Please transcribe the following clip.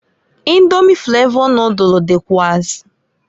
Indomi flavọ nodulu dịkwuazi.